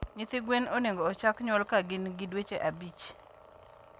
Nyithi gwen onego ochak nyuol ka gin gi dweche abich.